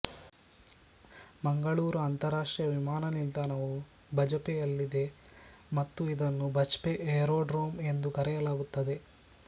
ಮಂಗಳೂರು ಅಂತರಾಷ್ಟ್ರೀಯ ವಿಮಾನ ನಿಲ್ದಾಣವು ಬಜಪೆಯಲ್ಲಿದೆ ಮತ್ತು ಇದನ್ನು ಬಜ್ಪೆ ಏರೋಡ್ರೋಮ್ ಎಂದು ಕರೆಯಲಾಗುತ್ತದೆ